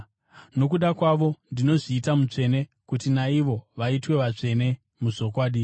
Nokuda kwavo ndinozviita mutsvene, kuti naivowo vaitwe vatsvene muzvokwadi.